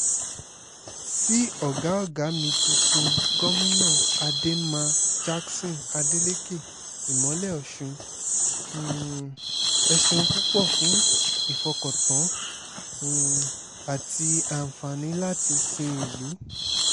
sí ọ̀gá ọ̀gá mi tuntun gomina ademma jackson adeleke ìmọ́lẹ̀ ọ̀ṣún um ẹ̀ ṣeun púpọ̀ fún ìfọkàntàn um àti àǹfààní láti sin ìlú